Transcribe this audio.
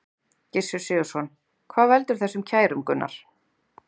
Gissur Sigurðsson: Hvað veldur þessum kærum, Gunnar?